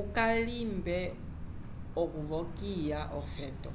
ukalimbe okuvokiya ofeto